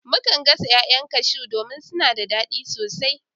Mukan gasa 'ya'yan cashew domin suna da dadi sosai